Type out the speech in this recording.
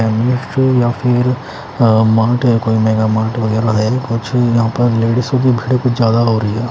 या फिर मार्ट है है कोई मेगा मार्ट वगेरा कुछ यहाँ पर लेडीसो की भीड़ कुछ ज्यादा हो रही है।